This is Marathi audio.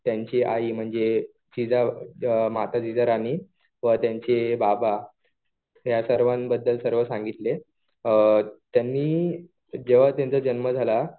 त्यांची आई म्हणजे म्हणजे माता जिजा राणी व त्यांचे बाबा या सर्वांबद्दल सर्व सांगितले. त्यांनी, जेव्हा त्यांचा जन्म झाला